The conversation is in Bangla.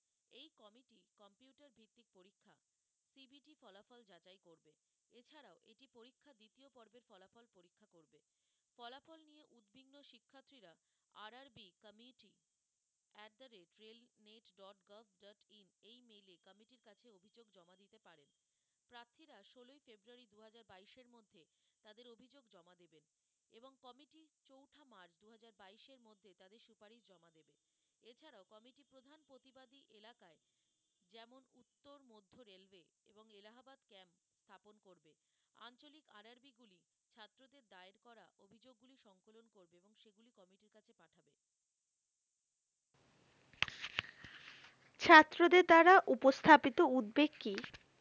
ছাত্রদের দ্বারা উপস্থাপিত উদ্বেগ কি